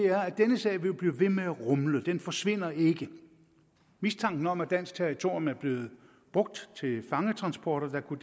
denne sag jo vil blive ved med at rumle den forsvinder ikke mistanken om at dansk territorium er blevet brugt til fangetransporter der kunne